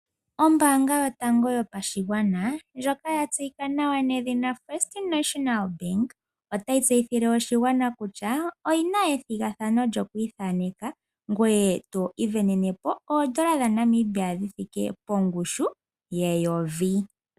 Ombaanga yotango yopashigwana ndjoka ya tseyika nawa nedhina First National Bank otayi tseyithile oshigwana kutya oyi na ethigathano lyokwiithaneka ngoye to isindanene po oondola dhaNamibia dhi thike pongushu yeyovi.